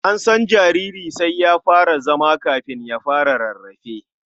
An san jariri sai ya fara zama kafin ya fara rarrafe.